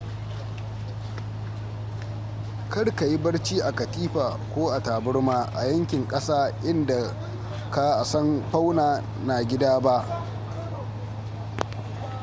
karka yi barci a katifa ko taburma a yankin ƙasa in da ka a san fauna na gida ba